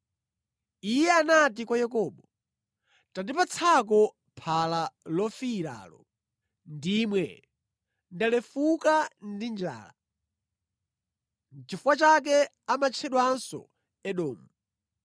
Iye anati kwa Yakobo, “Tandipatsako phala lofiiralo, ndimwe! Ndalefuka ndi njala.” (Nʼchifukwa chake amatchedwanso Edomu).